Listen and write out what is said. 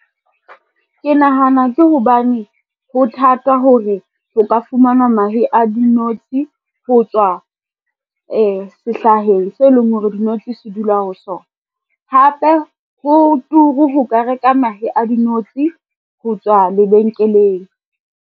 Ke nahana ke hobane ho thata hore ho ka fumanwa mahe a dinotshi ho tswa sehlaheng se leng hore dinotshi se dula ho sona. Hape ho turu ho ka reka mahe a dinotshi ho tswa lebenkeleng.